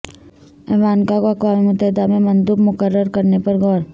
Ivanka کو اقوام متحدہ میں مندوب مقرر کرنے پر غور